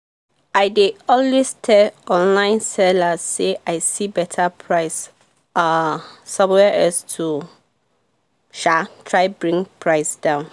i dey always tell online sellers say i see better price um somewhere else to um try bring price down